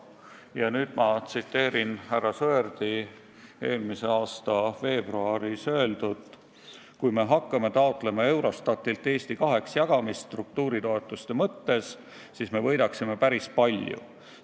Ja nüüd ma tsiteerin härra Sõerdi mullu veebruaris öeldut: kui me hakkaksime taotlema Eurostatilt struktuuritoetuste mõttes Eesti kaheks jagamist, siis me võidaksime päris palju.